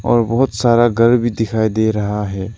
और बहोत सारा घर भी दिखाई दे रहा है।